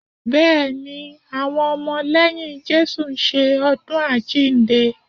Bẹ́ẹ̀ ni, àwọn ọmọ lẹ́yìn Jésù ń ṣe ọdún àjíǹde